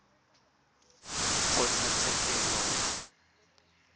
kgotlatshekelo